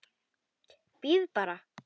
BJÖRN: Bíðið bara!